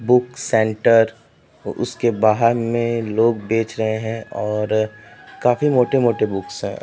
book centre बाहर में लोग बेच रहे हैं और काफी मोटे-मोटे बुक्स है|